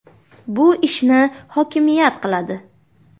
Bu ishni hokimiyat qiladi.